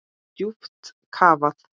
Djúpt kafað.